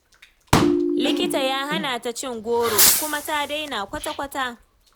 Likita ya hana ta cin goro kuma ta daina kwata-kwata.